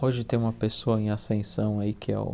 Hoje tem uma pessoa em ascensão aí que é o